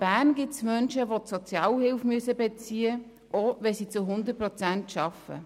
Bern gibt es Menschen, die Sozialhilfe beziehen müssen, obwohl sie zu 100 Prozent arbeiten.